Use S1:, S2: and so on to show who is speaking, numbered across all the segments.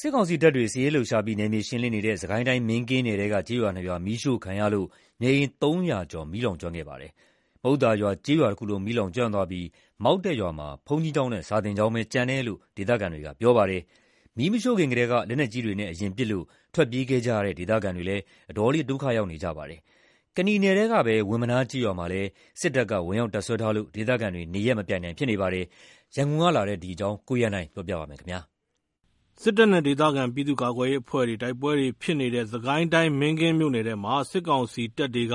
S1: စစ်ကောင်စီတပ်တွေ စစ်ရေးလှုပ်ရှားပြီး နယ်မြေရှင်းလင်းနေတဲ့ စစ်ကိုင်းတိုင်း မင်းကင်းနယ်ထဲက ကျေးရွာ ၂ ရွာ မီးရှို့ခံရလို့ နေအိမ် ၃၀၀ ကျော် မီးလောင်ကျွမ်းခဲ့ပါတယ်။ မုဿာရွာကျေးရွာတခုလုံး မီးလောင်ကျွမ်းသွားပြီး မောက်တက်ရွာမှာ ဘုန်းကြီးကျောင်းနဲ့ စာသင်ကျောင်းသာ ကျန်တယ်လို့ ဒေသခံတွေက ပြောပါတယ်။ မီးမရှို့ခင်ကတည်းက လက်နက်ကြီးတွေနဲ့ အရင်ပစ်ခတ်လို့ ထွက်ပြေးခဲ့ကြရတဲ့ ဒေသခံတွေလည်း အတော်လေး ဒုက္ခရောက်နေကြပါတယ်။ ကနီနယ်ထဲကပဲ ဝင်းမနားကျေးရွာမှာလည်း စစ်ကောင်စီတပ်တွေ ဝင်ရောက်တပ်စွဲထားလို့ ဒေသခံတွေ နေရပ်မပြန်နိုင် ဖြစ်နေပါတယ်။ ရန်ကုန်ကလာတဲ့ သတင်းကို ကိုရန်နိုင်က တင်ပြပေးထားပါတယ်။ စစ်တ
S2: ပ်နဲ့ဒေသခံ ပြည်သူ့ကာကွယ်ရေးအဖွဲ့တွေ တိုက်ပွဲတွေ ဖြစ်နေတဲ့ စစ်ကိုင်းတိုင်း မင်းကင်းမြို့နယ်ထဲမှာ စစ်ကောင်စီတပ်တွေက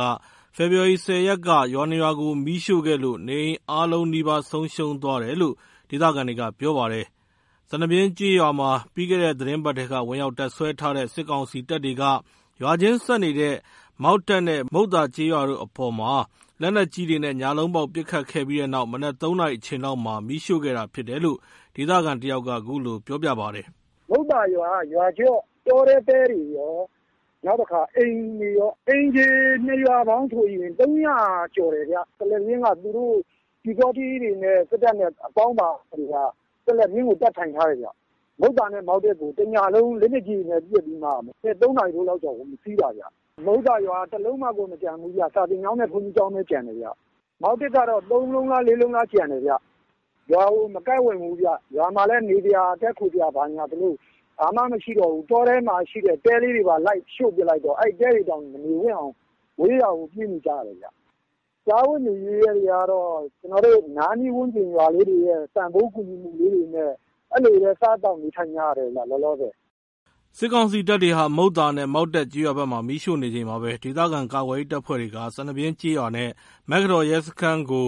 S2: ဖေဖော်ဝါရီ ၁၀ ရက်က ရွာ ၂ ရွာကို မီးရှို့ခဲ့လို့ နေအိမ်အားလုံးနီးပါး ဆုံးရှုံးသွားတယ်လို့ ဒေသခံတွေက ပြောပါတယ်။ စနဗျင်းကျေးရွာမှာ ပြီးခဲ့တဲ့ သီတင်းပတ်ထဲက ဝင်ရောက်တပ်စွဲထားတဲ့ စစ်ကောင်စီတပ်တွေက ရွာချင်းဆက်နေတဲ့ မောက်တက်နဲ့ မုဿာကျေးရွာတို့အပေါ် လက်နက်ကြီးတွေနဲ့ ညလုံးပေါက် ပစ်ခတ်ခဲ့ပြီးနောက် မနက် ၃ နာရီအချိန်လောက်မှာ မီးရှို့ခဲ့တာဖြစ်တယ်လို့ ဒေသခံတယောက်က ခုလိုပြောပြပါတယ်။
S3: “မုဿာရွာက တောထဲကတဲတွေကော အိမ်တွေကော အိမ်ခြေက ၂ ရွာပေါင်းဆိုရင် ၃၀၀ ကျော်တယ်ခင်ဗျ။ စနဗျင်းမှာ ပျူစောထီးတွေနဲ့ သူတို့အပေါင်းအပါတွေက တပ်ထိုင်ထားတယ်။ မုဿာနဲ့ မောက်တက်ကို တညလုံး လက်နက်ကြီးတွေနဲ့ပစ်ပြီး မနက် ၃ နာရီလောက်မှာ ဝင်စီးတာ။ မုဿာရွာကတလုံးမှကို မကျန်ဘူးဗျ။ စာသင်ကျောင်းနဲ့ ဘုန်းကြီးကျောင်းပဲကျန်တယ်။ မောက်တက်က ၃ လုံးလား ၄ လုံးလားပဲ ကျန်တယ်။ ရွာကို မကပ်ဝံ့ဘူးဗျ။ ရွာမှာ တည်းခိုစရာ နေစရာဆိုလို့ ဘာမှမရှိတော့ဘူး။ တောထဲကတဲတွေပါ ရှို့လိုက်တော့ ရွာမှာ မနေဝံ့တော့ဘဲ ဝေးရာကို ပြေးနေကြရတယ်။ စားဝတ်နေရေးက အနားနီးဝန်းကျင်က ပတ်ဝန်းကျင်ရွာလေးတွေက ကူညီပေးတာတွေနဲ့ လောလောဆယ် စားသောက်နေထိုင်နေရတယ်။”
S2: စစ်ကောင်စီတပ်တွေက မုဿာနဲ့ မောက်တက်ကျေးရွာဘက်မှာ မီးရှို့နေချိန်မှာပဲ ဒေသခံကာကွယ်ရေး တပ်ဖွဲ့တွေက စနဗျင်းကျေးရွာနဲ့ မေက္ကတော်ရဲစခန်းကို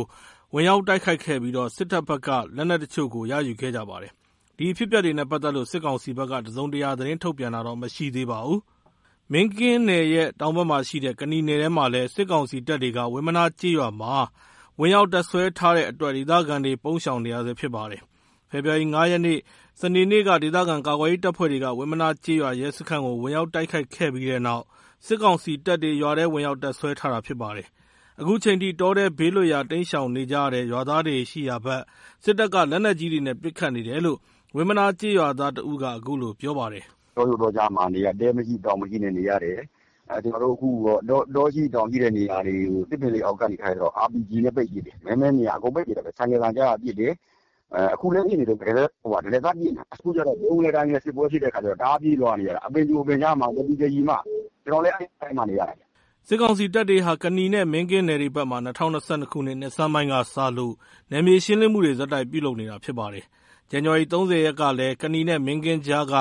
S2: ဝင်ရောက်တိုက်ခိုက်ခဲ့ပြီး စစ်တပ်ဘက်က လက်နက် တချို့ကို ရယူခဲ့ကြပါတယ်။ ဒီအဖြစ်အပျက်တွေနဲ့ပတ်သက်လို့ စစ်ကောင်စီဘက်က တစုံတရာ သတင်းထုတ်ပြန်တာမရှိသေးပါဘူး။ မင်းကင်းနယ်ရဲ့ တောင်ဘက်မှာရှိတဲ့ ကနီနယ်ထဲမှာလည်း စစ်ကောင်စီတပ်တွေ ဝင်းမနားကျေးရွာမှာ ဝင်ရောက်တပ်စွဲထားတဲ့အတွက် ဒေသခံတွေ ပုန်းရှောင်နေရဆဲဖြစ်ပါတယ်။ ဖေဖော်ဝါရီလ ၅ ရက် စနေနေ့က ဒေသခံကာကွယ်ရေး တပ်ဖွဲ့တွေက ဝင်မနားကျေးရွာ ရဲစခန်းကို ဝင်ရောက်တိုက်ခိုက်ခဲ့ပြီးနောက် စစ်ကောင် စီတပ်တွေ ရွာထဲ ဝင်ရောက်တပ်စွဲထားတာဖြစ်ပါတယ်။ အခုချိန်ထိ တောထဲဘေးလွတ်ရာ တိမ်းရှောင်နေကြရတဲ့ ရွာသားတွေ ရှိရာဘက် စစ်တပ်က လက်နက်ကြီးတွေနဲ့ ပစ်ခတ်နေတယ်လို့ ဝင်မနား ကျေးရွာသား တဦးက အခုလို ပြောပြပါတယ်။
S3: “တောကြိုတောကြားမှာ တဲမရှိတောင်မရှိနဲ့ နေရတယ်။ တောရှိတောင်ရှိတဲ့ နေရာမှာတော့ RPG တွေနဲ့ပစ်တယ်။ မဲမဲမြင်ရာ အကုန်ပစ်တယ်။ ဆိုင်ကယ်သံကြားရင်ပစ်တယ်။ အခုလည်း ပစ်နေတုန်းပဲ။ တရစပ် ပစ်နေတာ။ အခုက ဗြုန်းကနဲစစ်ပွဲဖြစ်တော့ တောကြိုတောကြားပြေးနေရတယ်။ ကျနော်လည်း အခု တောထဲမှာနေ နေရတယ်။” စစ
S2: ်ကောင်စီတပ်တွေဟာ ကနီနဲ့မင်းကင်းနယ်တွေဘက်မှာ ၂၀၂၂ နှစ်ဆန်းပိုင်းကစလို့ နယ်မြေရှင်းလင်းမှုတွေ ဆက်တိုက်ပြုလုပ်နေတာဖြစ်ပါတယ်။ ဇန်နဝါရီ ၃၀ ရက်ကလည်း ကနီနဲ့မင်းကင်းကြားက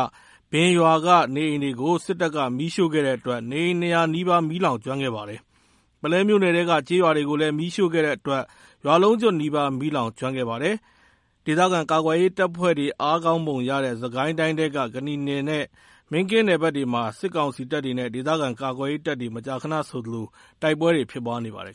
S2: ဘင်ရွာက နေအိမ်တွေကို စစ်တပ်က မီးရှို့ခဲ့တဲ့အတွက် နေအိမ် ၂၀၀ နီးပါး မီးလောင်ကျွမ်းခဲ့ပါတယ်။ ပုလဲမြို့နယ်ထဲက ကျေးရွာတွေကိုလည်း မီးရှို့ခဲ့တဲအတွက် ရွာလုံးကျွတ်နီးပါး မီးလောင်ကျွမ်းခဲ့ပါတယ်။ ဒေသခံကာကွယ်ရေးတပ်ဖွဲ့တွေ အားကောင်းပုံရတဲ့ စစ်ကိုင်းတိုင်းထဲက ကနီနဲ့ မင်းကင်းနယ်ဘက်တွေမှာ စစ်ကောင်စီတပ်တွေနဲ့ ဒေသခံကာကွယ်ရေးတပ်တွေ မကြာခဏဆိုသလို တိုက်ပွဲတွေ ဖြစ်ပွားနေပါတယ်